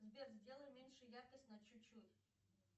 сбер сделай меньше яркость на чуть чуть